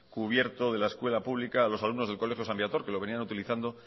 cubierto de la escuela pública a los alumnos del colegio san viator que lo venían utilizando